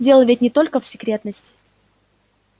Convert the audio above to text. дело ведь не только в секретности